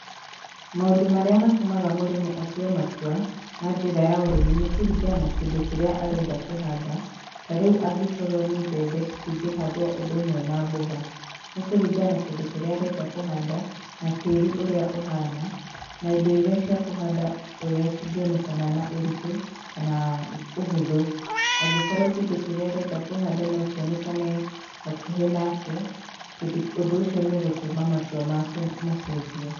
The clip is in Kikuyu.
Maũndũ marĩa matũmaga mũrĩmi atue matua, ma njĩra ya ũrĩmi, nĩ kũringana na kĩndũ kĩrĩa arenda kũhanda, tarĩu angĩkorwo nĩ mbembe, citingĩhandwo ũndũ ũmwe na mboga, nĩ kũringana na kindũ kĩrĩa arenda kũhanda, na tĩri ũrĩa ũhana na indo iria cia kũhanda ũrĩa ciongĩonekana na ũritũ kanaaa ũhũthũ, angĩkorwo kĩndũ kĩrĩa arenda kũhanda no kĩonekane hakuhĩ nake kĩndũ kĩu, ũndũ ũcio nĩũgũtũma matua make macenjie